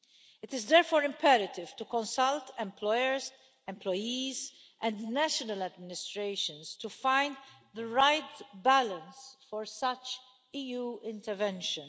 It is therefore imperative to consult employers, employees and national administrations to find the right balance for such EU intervention.